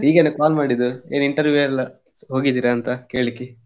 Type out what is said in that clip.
ಹೀಗೇನೆ call ಮಾಡಿದ್ದು ಏನ್ interview ಎಲ್ಲ ಹೋಗಿದ್ದೀರಾ ಅಂತ ಕೇಳಿಕ್ಕೆ.